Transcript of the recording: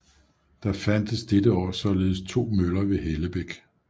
Der fandtes dette år således to møller ved Hellebæk